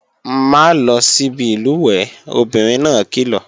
Má lọ síbi ìlùwẹ̀ẹ̀, obìnrin náà kìlọ̀!